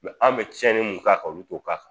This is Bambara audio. an' bɛ tiɲɛni mun k'a ka olu t'o k'a k